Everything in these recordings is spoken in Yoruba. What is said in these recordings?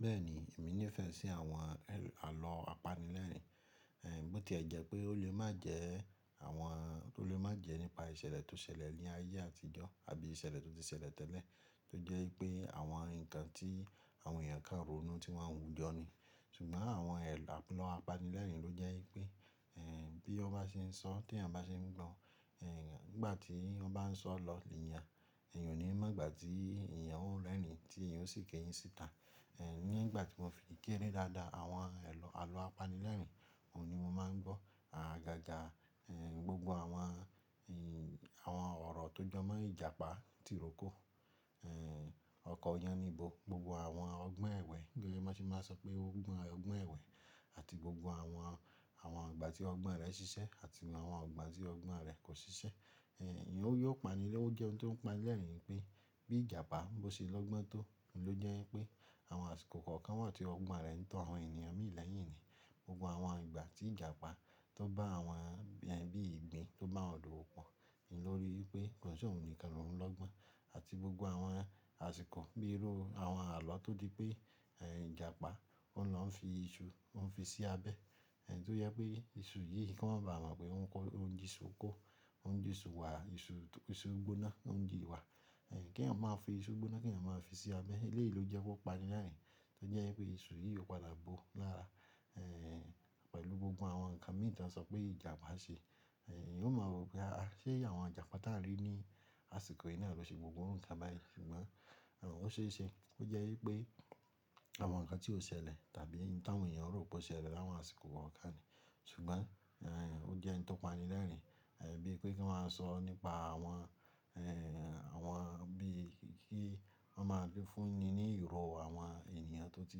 Bẹ́ẹ̀ni, èmi nífẹ̀ẹ́ sí àwọn àlọ́ apanilẹ́rìnín. Bó tí ẹ jẹ́ pé ó lè má jẹ nípa ìṣẹ̀lẹ̀ tó ṣẹlẹ̀ ní ayé àtijọ́ àbí ìṣẹ̀lẹ̀ tó ti ṣẹlẹ̀ tẹ́lẹ̀ tó jẹ́ pé àwọn nǹkan tí àwọn èèyàn kan rónú tí wọ́n ń wujọ ni. Ṣùgbọ́n àwọn àlọ́ apanilẹ́rìnín ló jẹ́ e pé bí ó bá ṣe ń sọ tí èèyàn bá ṣe ń gbọ́, nígbà tí ó bá ń sọ lọ̀ níyen, èèyàn ò ní mọ̀ nígbà tí èèyàn ọ̀ rérin tí èèyàn sì kéyìn síta. Nígbà tí mo fi kẹ́rẹ́ dáadáa àwọn àlọ́ apanilẹ́rìnín, òun ni mo máa ń gbọ́. Àgàgà gbogbo àwọn ọ̀rọ̀ tó jọ mọ́ Ìjàpá tirókò, ọkọ Yánníbo, gbogbo àwọn ọgbọ́n ẹ̀wẹ́ bí won ṣe máa ń sọ pé ọgbọ́n ẹ̀wẹ́ àti gbogbo àwọn ìgbà tí ọgbọ́n rẹ̀ ṣiṣẹ́ àti àwọn ìgbà tí ọgbọ́n rẹ̀ kò ṣiṣẹ́. Òun jẹ́ ohun tó ń pani lẹ́ẹ̀rìnín pé bí Ìjàpá ló ṣe lọ́gbọ́n tó, òun ló jẹ́ pé àwọn àsìkò kan kan wà tí ọgbọ́n rẹ̀ ń tọ àwọn ènìyàn mì lẹ́yìn ni. Gbogbo àwọn ìgbà tí Ìjàpá tó bá àwọn ẹbí ìgbín tó bá won dọ́wo òpó lórí pé kò se ohun nìkan ló ń lọ́gbọ́n àti gbogbo àwọn àsìkò bíi irú àwọn àlọ́ tó dí pé Ìjàpá ó lọ́ ń fi iṣu ó ń fi sí abẹ́ tó jẹ́ pé iṣu yìí ko má ba à mọ̀ pé ó ń jí iṣu kó, ó ń jí iṣu wà, iṣu gbóná ó ń jí wà. Kí èèyàn má fi iṣu gbóná, kí èèyàn má fi sí abẹ́. Eléyìí ló jẹ́ wọ́n pani lẹ́ẹ̀rìnín tó jẹ́ pé iṣu yìí ò padà bò lára pẹ̀lú gbogbo àwọn nǹkan mìí tí wọ́n sọ pé Ìjàpá ṣe. Òun mọ̀ wo pé ṣé àwọn Ìjàpá táàrí ní àsìkò yìí náà ló ṣe gbogbo òru nǹkan báyìí ṣùgbọ́n ó ṣe é ṣe ó jẹ́ wípé àwọn nǹkan tí ó ṣẹlẹ̀ tàbí ta wọn èèyàn rò pé ó ṣẹlẹ̀ láwọn àsìkò kan kan ní. Ṣùgbọ́n ó jẹ́ hun tó pani lẹ́ẹ̀rìnín bí i pé kí wọ́n má a sọ nípa àwọn bí i kí wọ́n má a fúnni ní ìrò àwọn èèyàn tó ti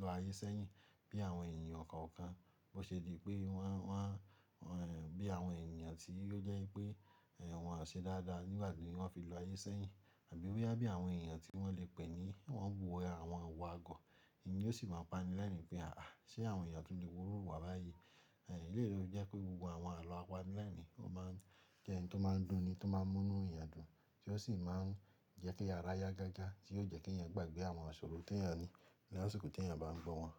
lọ ayé sẹ́yìn bí àwọn èèyàn kan kan bó ṣe di pé won bí àwọn èèyàn tí ó jẹ́ wípé wọ́n ò ṣe dáadáa nígbà tí wọ́n fi lọ ayé sẹ́yìn àbí boya bí àwọn èèyàn tí wọ́n lè pè ní wọ́n wu àwọn iwa àgọ́. Èyí ló sì máa pani lẹ́ẹ̀rìnín pé àṣé àwọn èèyàn tu le wúrò iwà báyìí. Eléyìí ló jẹ́ pé gbogbo àwọn àlọ́ apanilẹ́rìnín ó má ń jẹ́ hun tó má ń dùn ni, tó má ń mú inú èèyàn dùn tí ó sì má ń jẹ́ kí ara yá gágá tí yóò jẹ́ kí èèyàn gbàgbé àwọn àṣòrò tí èèyàn ní ní àsìkò tí èèyàn bá ń gbọ́ wọn.